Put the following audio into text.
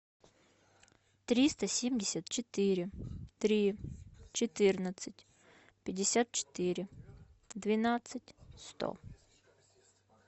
триста семьдесят четыре три четырнадцать пятьдесят четыре двенадцать сто